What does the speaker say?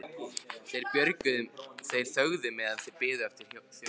Þeir þögðu meðan þeir biðu eftir þjóninum.